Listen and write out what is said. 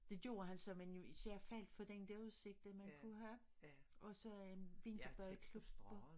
Det gjorde han så men jeg faldt for den der udsigten man kunne have og så øh vinterbadeklubben